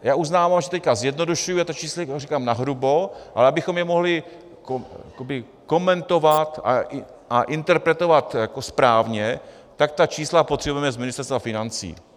Já uznávám, že teď zjednodušuji, já ta čísla říkám nahrubo, ale abychom je mohli komentovat a interpretovat správně, tak ta čísla potřebujeme z Ministerstva financí.